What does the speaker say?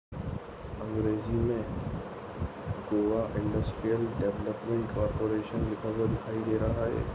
अंग्रेजी मे Goa industrial development corporation लिखा हुआ दिखाई दे रहा है।